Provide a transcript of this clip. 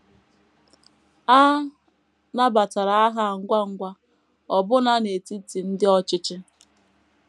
A nabatara aha a ngwa ngwa, ọbụna n’etiti ndị ọchịchị.